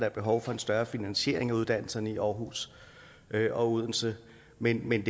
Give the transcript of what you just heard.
er behov for en større finansiering af uddannelserne i aarhus og odense men men